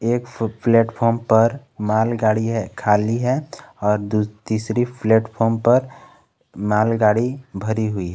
एक फुट प्लेटफार्म पर मालगाड़ी है खाली है और दू तीसरे प्लेटफॉर्म पर मालगाड़ी भरी हुई है।